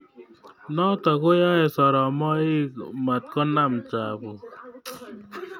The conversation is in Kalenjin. Nitok koaey soromaik matkonem chapuk